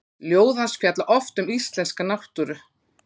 Ljóð hans fjalla oft um íslenska náttúru.